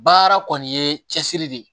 Baara kɔni ye cɛsiri de ye